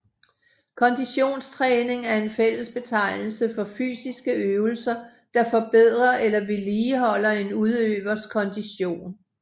Konditionstræning er en fællesbetegnelse for fysiske øvelser der forbedrer eller vedligeholder en udøvers kondition